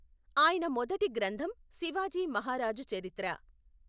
ఆయన మొదటి గ్రంధం శివాజీ మహారాజు చరిత్ర.